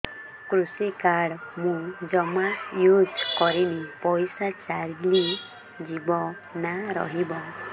କୃଷି କାର୍ଡ ମୁଁ ଜମା ୟୁଜ଼ କରିନି ପଇସା ଚାଲିଯିବ ନା ରହିବ